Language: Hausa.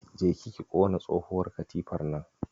Jeki ki ƙona tsohuwar katifar nan.